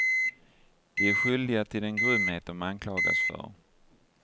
De är skyldiga till den grymhet de anklagas för.